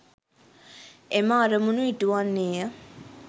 එම අරමුණු ඉටු වන්නේ ය.